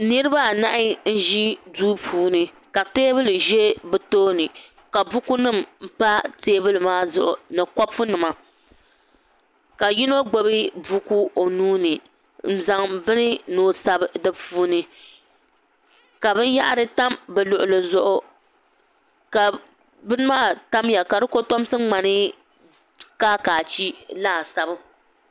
niriba anahi n-ʒi duu puuni ka teebuli za bɛ tooni ka bukunima pa teebuli maa zuɣu ni kopunima ka yino gbubi buku o nuu ni n-zaŋ bini ni o sabi di puuni ka binyɛhari tam bɛ luɣili zuɣu ka bini maa tamya ka di kotomsi ŋmani kaakaachi laasabu